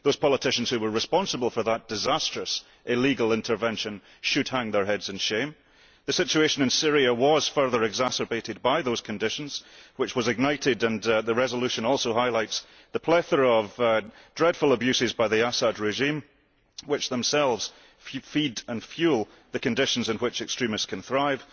The politicians responsible for that disastrous, illegal intervention should hang their heads in shame. The situation in Syria was further exacerbated by those conditions and was ignited, as the resolution also highlights, by the plethora of dreadful abuses by the Assad regime, which themselves feed and fuel the conditions in which extremists can thrive.